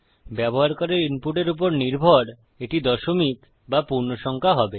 ব্যবহারকারীর ইনপুটের উপর নির্ভর এটি দশমিক বা পূর্ণসংখ্যা হবে